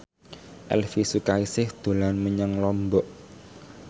Elvi Sukaesih dolan menyang Lombok